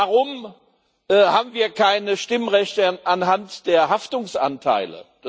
Warum haben wir keine Stimmrechte anhand der Haftungsanteile?